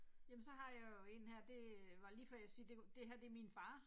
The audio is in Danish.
Jamen så har jeg jo én her det var lige før jeg sige det det her det er min far